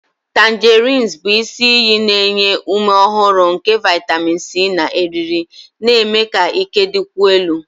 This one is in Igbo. Tangerines bụ isi iyi na-enye ume ọhụrụ nke vitamin C na eriri, na-eme ka ike dịkwuo elu.